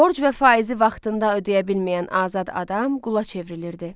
Borc və faizi vaxtında ödəyə bilməyən azad adam qula çevrilirdi.